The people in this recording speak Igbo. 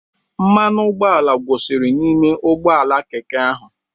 Mmanụ ụgbọala gwụsịrị n'ime ụgbọ ala Keke ahụ.